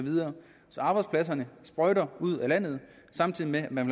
arbejdspladserne sprøjter ud af landet samtidig med at man